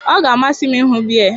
Ọ ga-amasị m ịhụ Bear